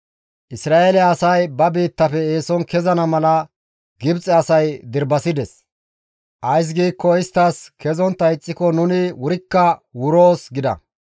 Isra7eele asay ba biittafe eeson kezana mala Gibxe asay dirbasides. Ays giikko istti, «Kezontta ixxiko nuni wurikka wurana» gida.